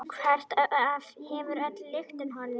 Hvert hefur öll lyktin horfið?